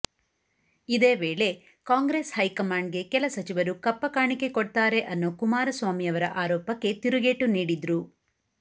ಇದೇ ವೇಳೆ ಕಾಂಗ್ರೆಸ್ ಹೈಕಮಾಂಡ್ಗೆ ಕೆಲ ಸಚಿವರು ಕಪ್ಪ ಕಾಣಿಕೆ ಕೊಡ್ತಾರೆ ಅನ್ನೋ ಕುಮಾರಸ್ವಾಮಿ ಯವರ ಆರೋಪಕ್ಕೆ ತಿರುಗೇಟು ನೀಡಿದ್ರು